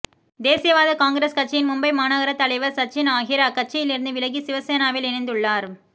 தேசியவாத காங்கிரஸ் கட்சியின் மும்பை மாநகர தலைவர் சச்சின் ஆஹிர் அக்கட்சியில் இருந்து விலகி சிவசேனாவில் இணைந்துள்ளார்